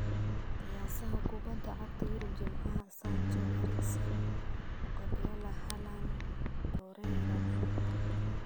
Qiyaasaha Kubadda Cagta Yurub Jimcaha: Sancho, Eriksen, Guardiola, Haaland, Zaha, Torreira.